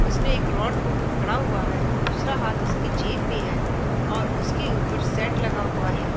उसने एक रॉड को पकड़ा हुआ है और दूसरा हाथ उसके जेब में है और उसके ऊपर शेड लगा हुआ है।